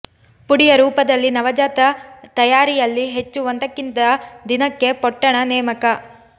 ಪುಡಿಯ ರೂಪದಲ್ಲಿ ನವಜಾತ ತಯಾರಿಯಲ್ಲಿ ಹೆಚ್ಚು ಒಂದಕ್ಕಿಂತ ದಿನಕ್ಕೆ ಪೊಟ್ಟಣ ನೇಮಕ